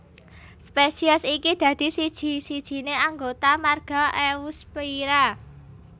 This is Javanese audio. Spesies iki dadi siji sijine anggota marga Eusphyra